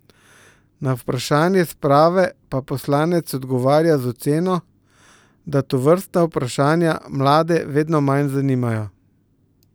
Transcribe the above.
Na vprašanje sprave pa poslanec odgovarja z oceno, da tovrstna vprašanja mlade vedno manj zanimajo.